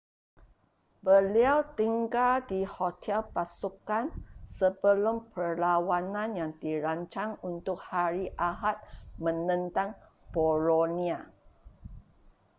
beliau tinggal di hotel pasukan sebelum perlawanan yang dirancang untuk hari ahad menentang bolonia